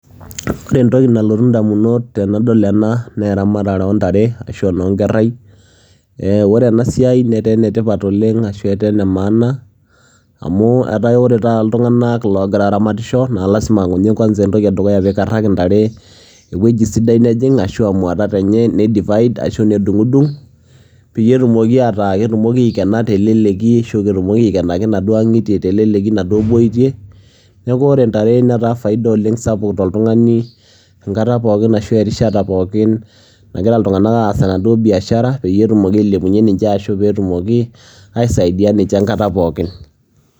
Ore entoki nalotu ndamunot tenadol ena naa eramatare o ntaare ashu enoo nkerai ee kore ena siai netaa ene tipat oleng' ashu etaa ene maana amu etaa ake ore taata iltung'anak loogira aaramatisho naa lazima nye kwanza entoki e dukuya piikaraki ntare ewoji sidai nejing' ashu aa mwatat enye nidivide ashu nidung'dung' peyie etumoki ataa ketumoki aikena te leleki ashu ketumoki aikenaki naduo ang'itie te leleki naduo boitie. Neeku ore ntare netaa faida oleng' sapuk toltung'ani enkata pookin ashu erishata pookin nagira iltung'anak aas enaduo biashara peyie etumoki ailepunye ninje ashu peetumoki aisaidia ninje enkata pookin.